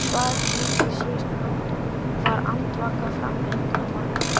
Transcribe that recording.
Hann svaf lítið síðustu nótt, var andvaka fram undir morgun.